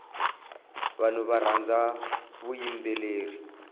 vanhu varhandza vuyimbeleri